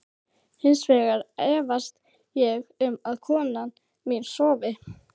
Hins vegar efast ég um að kona mín sofi.